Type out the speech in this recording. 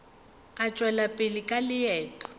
a tšwela pele ka leeto